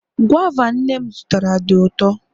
guava nnem zụtara di uto